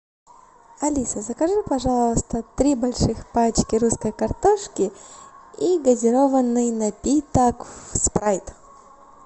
алиса закажи пожалуйста три больших пачки русской картошки и газированный напиток спрайт